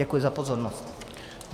Děkuji za pozornost.